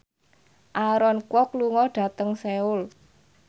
Aaron Kwok lunga dhateng Seoul